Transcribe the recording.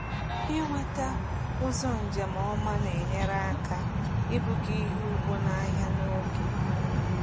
Ịnweta ụzọ njem ọma na-enyere aka ibuga ihe ugbo n’ahịa n’oge.